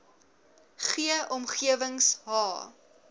g omgewings h